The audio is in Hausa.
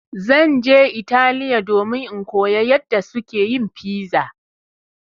Zan je Italiya domin in koya yadda suke yin piza.